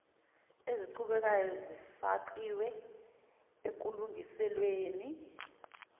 eziqhubekayo zifakiwe ekulungiselweni